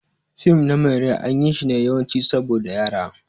Fim na mai rai an yi shi ne yawanci saboda Yara.